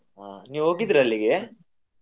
ಹಾ ನೀವ್ ಹೋಗಿದ್ರ ಅಲ್ಲಿಗೆ?